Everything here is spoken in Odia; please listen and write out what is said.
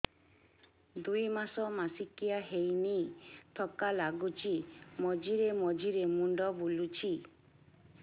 ଦୁଇ ମାସ ମାସିକିଆ ହେଇନି ଥକା ଲାଗୁଚି ମଝିରେ ମଝିରେ ମୁଣ୍ଡ ବୁଲୁଛି